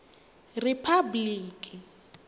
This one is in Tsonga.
riphabliki